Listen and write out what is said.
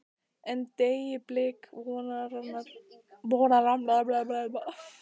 En- deyi blik vonarinnar verða þau spor eigi til.